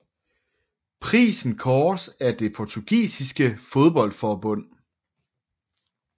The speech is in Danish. Prisen kåres af det Portugisiske fodboldforbund